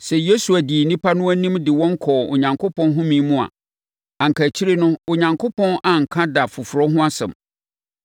Sɛ Yosua dii nnipa no anim de wɔn kɔɔ Onyankopɔn home mu a, anka akyire no Onyankopɔn anka da foforɔ ho asɛm.